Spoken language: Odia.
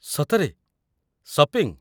ସତରେ? ସପିଂ?